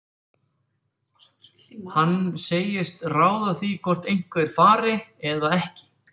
Hann segist ráða því hvort einhver fari eða ekki.